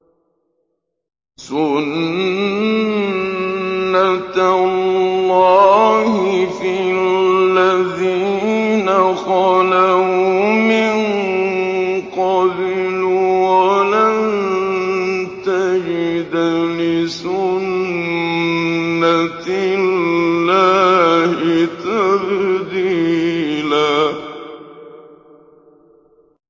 سُنَّةَ اللَّهِ فِي الَّذِينَ خَلَوْا مِن قَبْلُ ۖ وَلَن تَجِدَ لِسُنَّةِ اللَّهِ تَبْدِيلًا